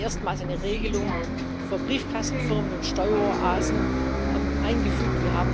Wir haben erstmals eine Regelung für Briefkastenfirmen und Steueroasen eingefügt.